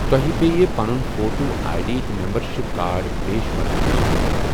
تۄہہِ پٮ۪ہِ پنُن فوٹو آئی ڈی تہٕ ممبرشپ کارڈ پیش کرنٗك ضروُرت ۔